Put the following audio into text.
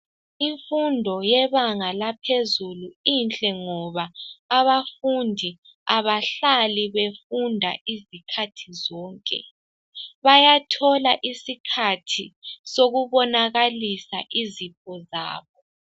Imfundo yebanga laphezulu inhle ngoba abafundi abahlali befunda izikhathi zonke. Bayathola isikhathi sokubonakalisa izipho zabo.